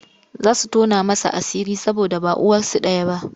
Za su tona masa asiri saboda ba uwarsu ɗaya ba.